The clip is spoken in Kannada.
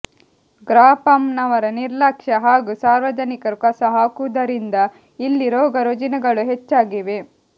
ಗ್ರಾಪಂನವರ ನಿರ್ಲಕ್ಷ್ಯ ಹಾಗೂ ಸಾರ್ವಜನಿಕರು ಕಸ ಹಾಕುವುದರಿಂದ ಇಲ್ಲಿ ರೋಗ ರುಜಿನಗಳು ಹೆಚ್ಚಾಗಿವೆ